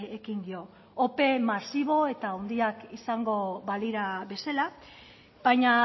ekin dio ope masibo eta handiak izango balira bezala baina